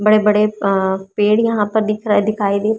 बड़े बड़े आ पेड़ यहां पर दिख रहा है दिखाई दे--